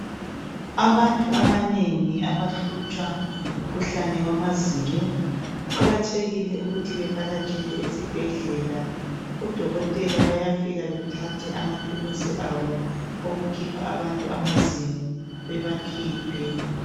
Abantu abanengi abahlutshwa ngumkhuhlane wamazinyo kuqakathekile ukuthi bevakatshele esibhedlela odokotela bayafika bethathe ama thulusi abo okukhipha abantu amazinyo bebakhiphe